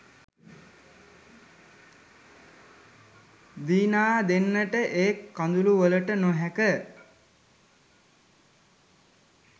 දිනා දෙන්නට ඒ කඳුළුවලට නොහැක